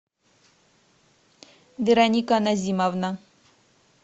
вероника назимовна